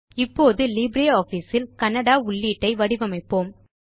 இப்போது லிப்ரியாஃபிஸ் இல் கன்னடா உள்ளீட்டை வடிவமைப்போம்